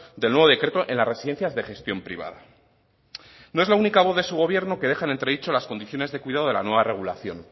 del nuevo decreto en las residencias de gestión privada no es la única voz de su gobierno que deja en entredicho las condiciones de cuidado de la nueva regulación